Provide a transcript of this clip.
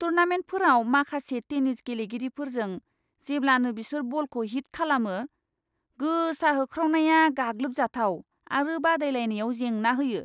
टूर्नामेन्टफोराव माखासे टेनिस गेलेगिरिफोरजों जेब्लानो बिसोर बलखौ हिट खालामो, गोसा होख्रावनाया गाग्लोबजाथाव आरो बादायलायनायाव जेंना होयो।